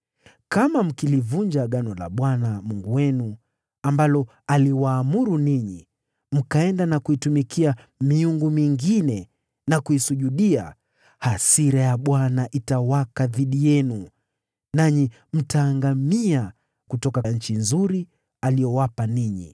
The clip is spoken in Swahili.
Kama mkilivunja agano la Bwana Mungu wenu, ambalo aliwaamuru ninyi, mkaenda na kuitumikia miungu mingine na kuisujudia, hasira ya Bwana itawaka dhidi yenu, nanyi mtaangamia kutoka nchi nzuri aliyowapa ninyi.”